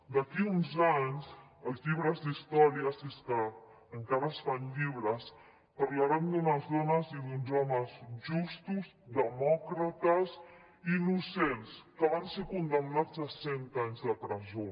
d’aquí uns anys els llibres d’història si és que encara es fan llibres parlaran d’unes dones i d’uns homes justos demòcrates innocents que van ser condemnats a cent anys de presó